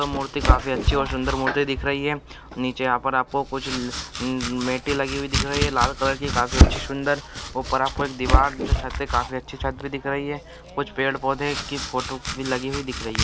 मूर्ति काफी अच्छी और सुंदर मूर्ति दिख रही है नीचे यहां पर आपको कुछ मैटर लगी हुई दिख रही है लाल कलर की काफी अच्छी सुंदर वह पर आपको एक दीवार दिख रही है कुछ पेड़ पौधे की फोटो भी लगी हुई दिख रही है